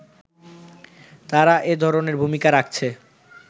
তারা এধরণের ভূমিকা রাখছে